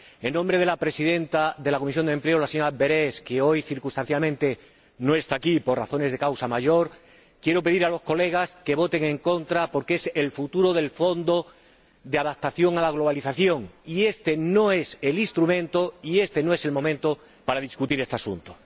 En nombre de la presidenta de la Comisión de Empleo y Asuntos Sociales, la señora Berès, que hoy, circunstancialmente, no está aquí por razones de causa mayor, quiero pedir a sus Señorías que voten en contra, porque está en juego el futuro del Fondo Europeo de Adaptación a la Globalización, y este no es el instrumento y este no es el momento para discutir este asunto.